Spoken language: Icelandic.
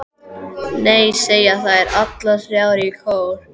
Nei, segja þær allar þrjár í kór.